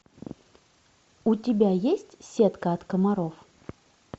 у тебя есть сетка от комаров